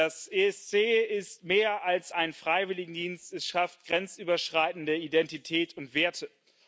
Das ESC ist mehr als ein Freiwilligendienst, es schafft grenzüberschreitende Identität und Werte.